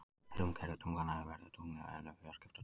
Sum gervitunglanna eru veðurtungl en önnur fjarskiptatungl.